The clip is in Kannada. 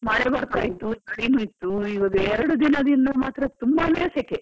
ಮಳೆ ಬರ್ತಾ ಇತ್ತು ಮಂಜಲ್ಲ ಇತ್ತು ಈಗ ಎರಡು ದಿನದಿಂದ ಮಾತ್ರ ತುಂಬಾನೇ ಸೆಕೆ.